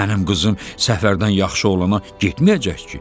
Mənim qızım Səfərdən yaxşı olana getməyəcək ki.